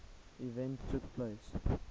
event took place